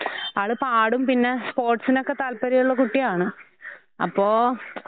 ആഹ് ഈ സ്വകാര്യ സ്ഥാപനങ്ങളീന്ന് സ്വകാര്യ വിദ്യാലയങ്ങളീന്ന് വരുന്ന ആഹ് കുട്ടികളാണ് കൂടുതലും അതിനാത്ത് അ എപ്പഴും സം എന്ത സമ്മാനത്തിന് അർഹയാകുന്നവര്.